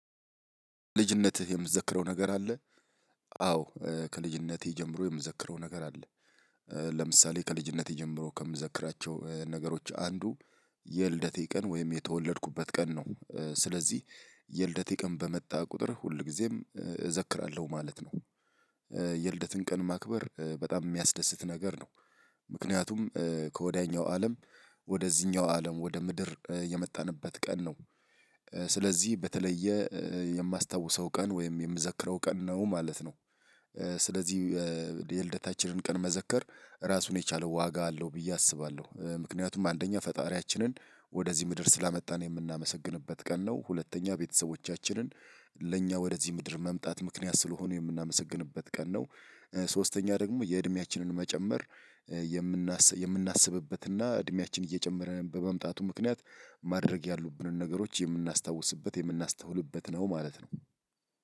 ልጅነትህ የምዘክረው ነገር አለ? አዎ ከልጅነቴ ጀምሮ የምዘክረው ነገር አለ። ለምሳሌ ከልጅነቴ ጀምሮ ከምዘክራቸው ነገሮች አንዱ የልደቴ ቀን ወይም የተወለድኩበት ቀን ነው። ስለዚህ የልደቴ ቀን በመጣ ቁጥር ሁልጊዜም እዘክራለሁ ማለት ነው። የልደትን ቀን ማክበር በጣም የሚያስደስት ነገር ነው። ምክንያቱም ከወዲያኛው አለም ወደዚህኛው አለም ወደ ምድር የመጣንበት ቀን ነው። ስለዚህ በተለየ የማስታውሰው ቀን ወይም የምዘክረው ቀን ነው ማለት ነው። ስለዚህ የልደታችንን ቀን መዘከር ራሱን የቻለው ዋጋ አለው ብዬ አስባለሁ። ምክንያቱም አንደኛ ፈጣሪያችንን ወደዚህ ምድር ስላመጣን የምናመሰግንበት ቀን ነው። ሁለተኛ ቤተሰቦቻችንን ለእኛ ወደዚህ ምድር መምጣት ምክንያት ስለሆኑ የምናመሰግንበት ቀን ነው። ሶስተኛ ደግሞ የእድሜያችንን መጨመር የምናስብበት እና እድሜያችን እየጨመረን በመምጣቱ ምክንያት ማድረግ ያሉብንን ነገሮች የምናስታውስበት የምናስተውልበት ነው ማለት ነው።